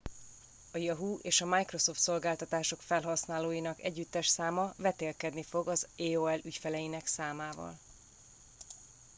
a yahoo és a microsoft szolgáltatások felhasználóinak együttes száma vetélkedni fog az aol ügyfeleinek számával